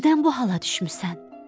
Nədən bu hala düşmüsən?